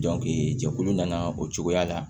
jɛkulu nana o cogoya la